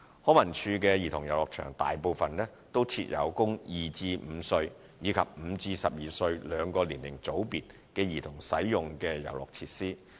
康文署的兒童遊樂場大部分均設有供2至5歲，以及5至12歲兩個年齡組別的兒童使用的遊樂設施。